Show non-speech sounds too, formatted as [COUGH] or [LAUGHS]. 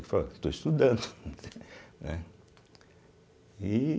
Eu falei, estou estudando [LAUGHS] né e